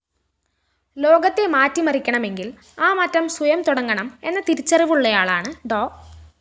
ലോകത്തെ മാറ്റിമറിക്കണമെങ്കില്‍ ആ മാറ്റം സ്വയം തുടങ്ങണമെന്ന തിരിച്ചറിവുള്ളയാളാണ് ഡോ